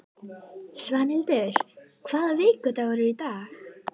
Svanhildur, hvaða vikudagur er í dag?